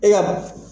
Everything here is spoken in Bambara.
E ka